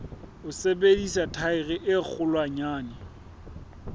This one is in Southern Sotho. ho sebedisa thaere e kgolwanyane